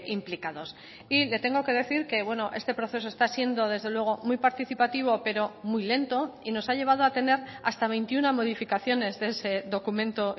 implicados y le tengo que decir que bueno este proceso está siendo desde luego muy participativo pero muy lento y nos ha llevado a tener hasta veintiuno modificaciones de ese documento